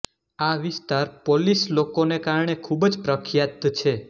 આ વિસ્તાર પોલિશ લોકોને કારણે ખૂબ જ પ્રખ્યાત છે